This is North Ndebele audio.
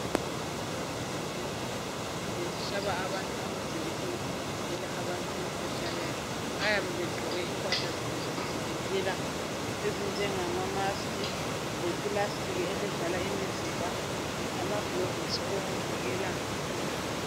Egumbini labo lokusebenzela bahlaba abantu amajekiseni okuvikela abantu emkhuhlaneni bayabe begqoke impahla zabo zokuzivikela ezinjengama mask lepulastiki evala imizimba lamagilovisi okuvikela izandla